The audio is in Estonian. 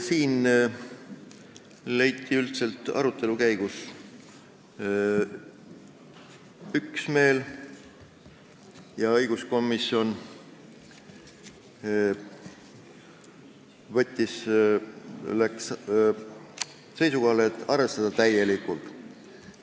" Siin leiti arutelu käigus üksmeel ja õiguskomisjon arvestas ettepanekut täielikult.